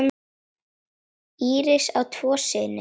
Íris á tvo syni.